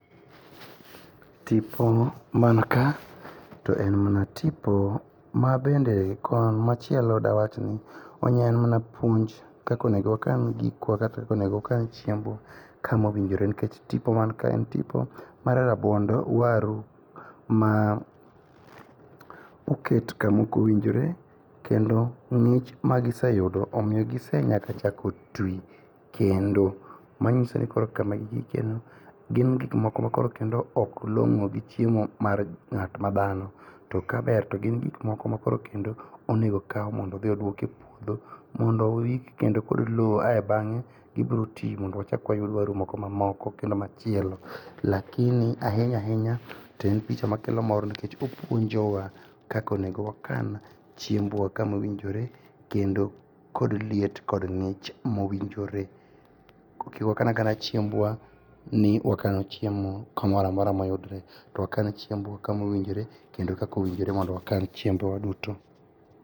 Tipo man ka, to en mana tipo mabende kon machielo dawach ni en mna puonj kaka onego wakan gikwa kata kaka onego wakan chiembwa kama owinjore ,nikech tipo man ka en tipo mar rabuond waru ma oket kamokowinjore kendo ng'ich magiseyudo omiyo gisenyaka chako twi kendo, manyiso ni koro kama gigikieno, gin gik moko makoro kendo ok long'o gi chiemo mar ng'at ma dhano, to kaber to gin gik moko makoro kendo onego okaw mondo odhi odwok e puodho, mondo oik kendo kod lowo ae bang'e, gibiro ti mondo wachak wayud waru moko mamoko kendo machielo, lakini ahinya ahinya, to en picha makelo mor nikech opuonjowa kaka onego wakan chiembwa kamowinjore, kendo kod liet kod ng'ich mowinjore. Kik wakan akana chiembwa ni wakano chiemo, kamora mora moyudre, to wakan chiembwa kamowinjore kendo kaka owinjre mondo wakan chiembwa duto.